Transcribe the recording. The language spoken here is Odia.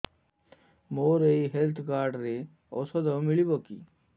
ମୋର ଏଇ ହେଲ୍ଥ କାର୍ଡ ରେ ଔଷଧ ମିଳିବ କି